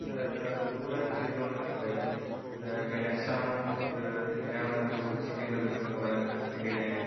അതുംകൂടെ ചോയ്ക്കണം എന്ന് എനിക്കുണ്ടായിരുന്ന്. ക്യാഷ് ആണോ, അത് എങ്ങിനെയാണ് നമ്മൾ സൂക്ഷിക്കേണ്ടത് അവിടെ എത്തിക്കഴിഞ്ഞാൽ?